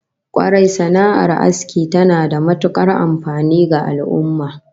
Kwarai, sana'ar asking tana da matukar amfani ga al'ummah